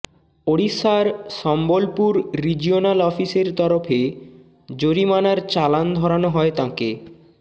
ওড়িশার সম্বলপুর রিজিওনাল অফিসের তরফে জরিমানার চালান ধরানো হয় তাঁকে